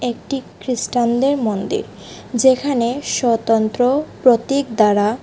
একটি খ্রিস্টানদের মন্দির যেখানে স্বতন্ত্র প্রতীক দ্বারা--